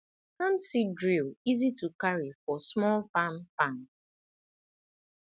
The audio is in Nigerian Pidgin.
hand seed drill easy to carry for small farm farm